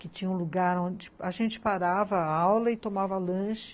Que tinha um lugar onde a gente parava a aula e tomava lanche